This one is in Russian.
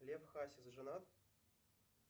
лев хасис женат